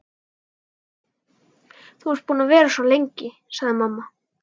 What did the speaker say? Þú ert búin að vera svo lengi, sagði mamma.